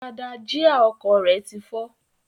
Agbada jíà ọkọ̀ rẹ ti fọ́.